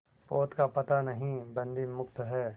पोत का पता नहीं बंदी मुक्त हैं